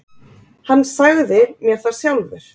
Hann sagði mér það sjálfur.